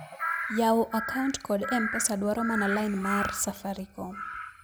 yawo akaut kod m-pesa dwaro mana line mar safaricom